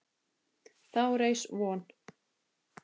Þá reis von